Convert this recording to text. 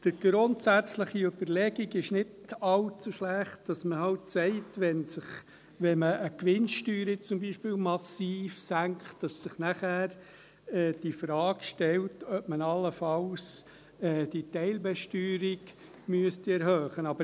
Die grundsätzliche Überlegung ist nicht allzu schlecht, wonach man sagt, wenn man beispielsweise die Gewinnsteuer massiv senkt, dass sich dann die Frage stellt, ob man allenfalls die Teilbesteuerung erhöhen müsste.